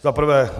Za prvé.